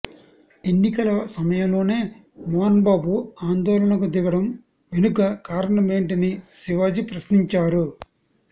ఎన్నికల సమయంలోనే మోహన్బాబు ఆందోళనకు దిగడం వెనుక కారణమేంటని శివాజీ ప్రశ్నించారు